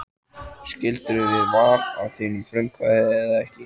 Skildirðu við Val af þínu frumkvæði eða þeirra?